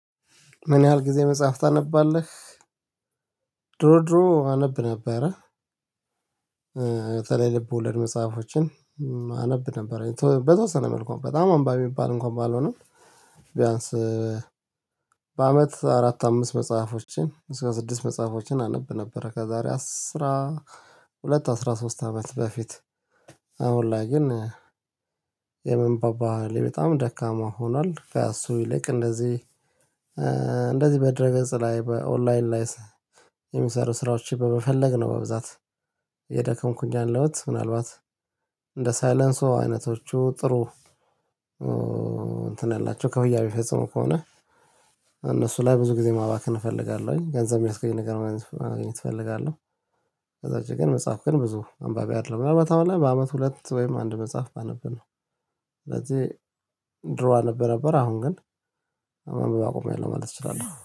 ምን ያህል ጊዜ መጽሐፍ ታነባለህ? ድሮ ድሮ አነብ ነበረ። ልብ ወለድ መጽሐፎችን አነብ ነበረ በተወሰነ መልኩ በጣም አንባቢ የምባል እንኳን ባልሆነው። ቢያንስ በአመት አራት አምስት መጽሐፎችን እስከ ስድስት መጽሐፎችን አነብ ነበር። ከዛሬ አስራ ሁለት አስራ ሶስት አመት በፊት። አሁን ላይ ግን የማንበብ በሀሌ ደካማ ሆኗል። እሱ ይልቅ እንደዚህ እንደዚህ በድርገጽ ላይ በኦንላይን ላይ የሚሰሩ ስራዎች በመፈለግነው። በብዛት እየደከምኩኝ ያአለሁት ምናልባት እንደ ሳይለንሲዎ አይነቶቹ ጥሩ። እንትን ያላቸው ከፍያ የሚፈጽሙ ከሆነ እነሱ ላይ ብዙ ጊዜ ማባከን እፈልጋለሁኝ ገንዘብ የሚስገኝ ነገር ማግኘት እፈልጋለሁ። ከዛ ወጭ ግን መጽሐፍ ግን ብዙ አንባቢ አይደለዉም። ምናልባት አሁን ላይ በአመት ሁለት ወይም አንድ መጽሐፍ ባነብ ነው። ስለዚህ ድሮ አነብ ነበር አሁን ግን ማንበብ አቁሚያለው ማለት እችላለሁ